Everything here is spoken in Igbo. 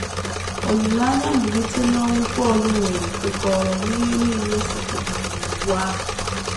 Olileanya mbilite n’ọnwụ Pọl nwere kwekọrọ “ n’ihe nile e setịpụrụ n’Iwu ahụ. ”